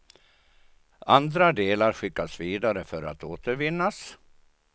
Andra delar skickas vidare för att återvinnas.